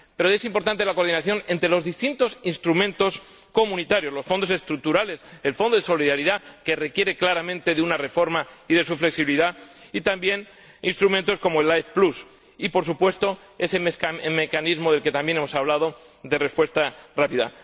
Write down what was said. Pero es importante la coordinación entre los distintos instrumentos comunitarios los Fondos Estructurales, el Fondo de Solidaridad —que requiere claramente una reforma— y su flexibilidad, y también instrumentos como Aid Plus y, por supuesto, ese mecanismo del que también hemos hablado, de respuesta rápida.